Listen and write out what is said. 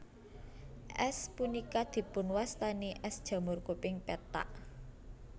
Ès punika dipunwastani ès jamur kuping pethak